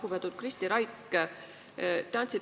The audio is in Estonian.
Lugupeetud Kristi Raik!